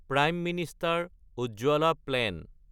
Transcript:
prime minister Ujjwala plan